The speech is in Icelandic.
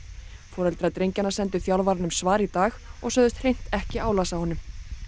foreldrar drengjanna sendu þjálfaranum svar í dag og sögðust hreint ekki álasa honum